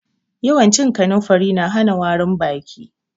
Yawan cin kanumfari na hana warin baki.